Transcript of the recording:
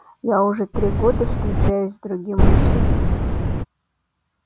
я уже три года встречаюсь с другим мужчиной